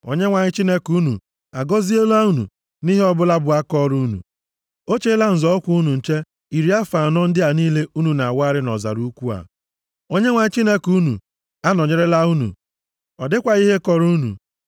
Onyenwe anyị Chineke unu agọziela unu nʼihe ọbụla bụ akaọrụ unu. O cheela nzọ ụkwụ unu nche iri afọ anọ ndị a niile unu wagharịrị nʼọzara ukwuu a. Onyenwe anyị Chineke unu anọnyerela unu, ọ dịkwaghị ihe kọrọ unu.